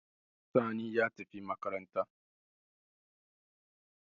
Sani ya tafi makaranta